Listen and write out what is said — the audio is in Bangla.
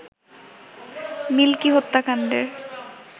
মিল্কি হত্যাকাণ্ডের